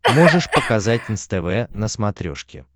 можешь показать нств на смотрешке